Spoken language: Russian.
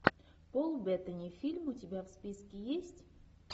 пол беттани фильм у тебя в списке есть